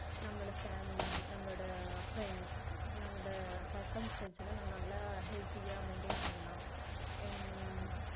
நம்மளோட family நம்மளோட friends நம்மளோட circumstance லாம் நம்ம நல்லா healthy யா maintain பண்ணலாம் and